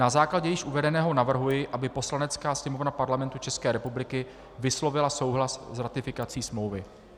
Na základě již uvedeného navrhuji, aby Poslanecká sněmovna Parlamentu České republiky vyslovila souhlas s ratifikací smlouvy.